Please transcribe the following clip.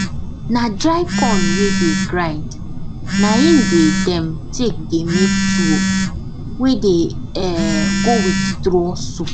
na dry corn wey dey grind na im dey dem take dey make tuwo wey dey um go with draw soup